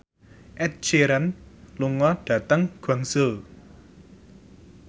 Ed Sheeran lunga dhateng Guangzhou